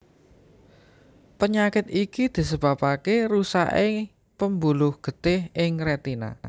Penyakit iki disebabaké rusaké pembuluh getih ing rétina